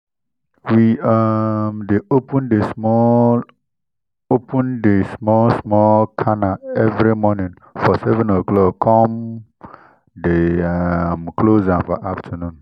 we um dey open di small open di small small canal every moning for seven o clock con dey um close am for afternoon